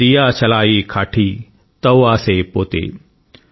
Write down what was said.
దియశలాయి కాఠి తౌ ఆసే పోతే ||